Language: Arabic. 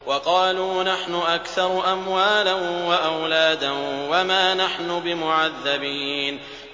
وَقَالُوا نَحْنُ أَكْثَرُ أَمْوَالًا وَأَوْلَادًا وَمَا نَحْنُ بِمُعَذَّبِينَ